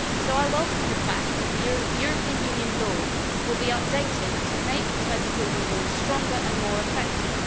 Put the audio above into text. So I welcome the fact that European Union law will be updated to make type approval rules stronger and more effective.